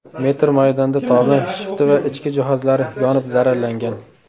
metr maydonda tomi, shifti va ichki jihozlari yonib zararlangan.